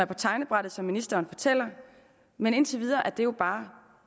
på tegnebrættet som ministeren fortæller men indtil videre er det bare